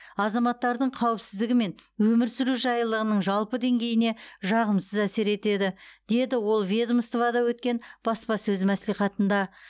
азаматтардың қауіпсіздігі мен өмір сүру жайлылығының жалпы деңгейіне жағымсыз әсер етеді деді ол ведомствода өткен баспасөз мәслихатында